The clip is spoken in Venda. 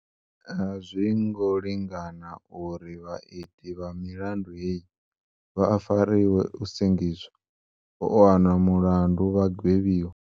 Azwi ngo lingana uri vhaiti vha milandu heyi vha fariwe, u sengiswa, u wanwa mulandu vha gwevhiwa.